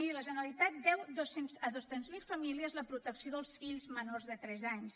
miri la generalitat deu a dos cents miler famílies la protecció dels fills menors de tres anys